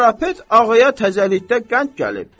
Karapet ağaya təzəlikdə qənd gəlib.